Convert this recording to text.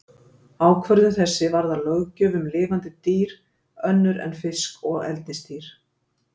Ákvörðun þessi varðar löggjöf um lifandi dýr önnur en fisk og eldisdýr.